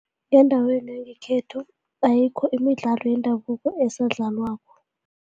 Ngendaweni yangekhethu ayikho imidlalo yendabuko esadlalwako.